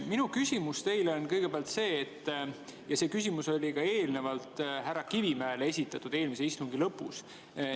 Minu küsimus teile kõigepealt on see, mille esitasin ka eelnevalt härra Kivimäele eelmise istungi lõpus.